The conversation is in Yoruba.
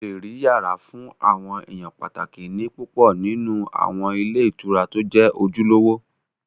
O lè rí yàrá fún àwọn èèyàn pàtàkì ní púpọ̀ nínú àwọn ilé ìtura tó jẹ́ ojúlówó